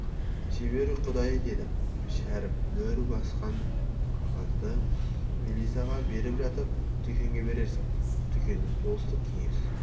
шебер құдай деді шәріп мөр басқан қағазды мелисаға беріп жатып дүкеңе берерсің дүкені болыстық кеңес